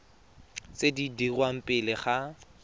tse di dirwang pele ga